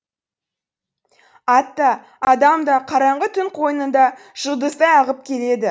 ат та адам да қараңғы түн қойнында жұлдыздай ағып келеді